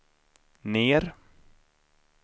ner